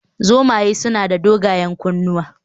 Zomaye suna da dogayen kunnuwa